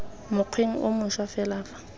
mokgweng o mošwa fela fa